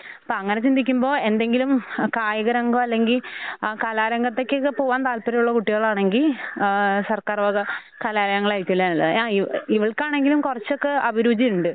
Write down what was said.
ഇപ്പ അങ്ങനെ ചിന്തിക്കുമ്പൊ എന്തെങ്കിലും കായികരംഗൊ അല്ലെങ്കി കലാരംഗത്തേക്കൊക്കെ പോകാൻ താൽപര്യയുള്ള കുട്ടികളാണെങ്കി ആഹ് സർക്കാർവക കലാലയങ്ങളായിരിക്കൂല്ലെ നല്ലത് യായു ഇവൾക്കാണെങ്കിലും കുറച്ചൊക്കെ അഭിരുചിയുണ്ട്.